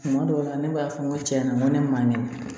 Kuma dɔw la ne b'a fɔ n ko tiɲɛna ko ne man kɛnɛ